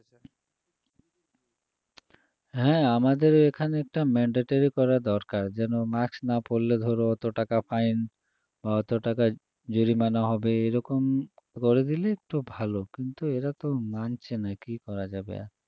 হ্যাঁ আমাদের এখানে এটা mandatory করা দরকার যেন mask না পরলে ধরো ওত টাকা fine বা ওত টাকা জরিমানা হবে এরকম করে দিলে একটু ভালো কিন্তু এরা তো মানছে না কী করা যাবে আর